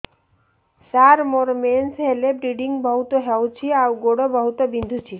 ସାର ମୋର ମେନ୍ସେସ ହେଲେ ବ୍ଲିଡ଼ିଙ୍ଗ ବହୁତ ହଉଚି ଆଉ ଗୋଡ ବହୁତ ବିନ୍ଧୁଚି